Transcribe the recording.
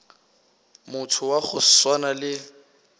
motho wa go swana le